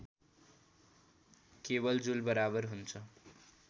केवल जुल बराबर हुन्छ